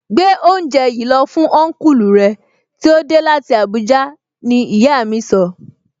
Gbé oúnjẹ yìí lọ fún Ọnkulu rẹ tí ó dé láti Abuja! Ní ìyá mi sọ